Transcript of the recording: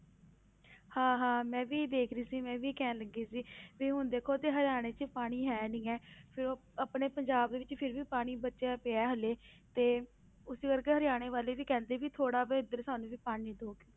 ਹਾਂ ਹਾਂ ਮੈਂ ਵੀ ਦੇਖ ਰਹੀ ਸੀ ਮੈਂ ਵੀ ਕਹਿਣ ਲੱਗੀ ਸੀ ਵੀ ਹੁਣ ਦੇਖੋ ਤੇ ਹਰਿਆਣੇ 'ਚ ਪਾਣੀ ਹੈ ਨੀ ਹੈ, ਫਿਰ ਉਹ ਆਪਣੇ ਪੰਜਾਬ ਵਿੱਚ ਫਿਰ ਵੀ ਪਾਣੀ ਬਚਿਆ ਪਿਆ ਹੈ ਹਾਲੇ ਤੇ ਉਸੇ ਕਰਕੇ ਹਰਿਆਣੇ ਵਾਲੇ ਵੀ ਕਹਿੰਦੇ ਵੀ ਥੋੜ੍ਹਾ ਵੀ ਇੱਧਰ ਸਾਨੂੰ ਵੀ ਪਾਣੀ ਦਓ।